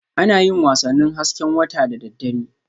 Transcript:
Ana yin wasannin hasken wata da daddare